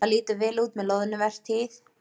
Það lítur vel út með loðnuvertíð